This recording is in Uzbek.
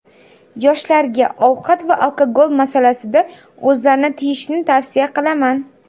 Yoshlarga ovqat va alkogol masalasida o‘zlarini tiyishni tavsiya qilaman.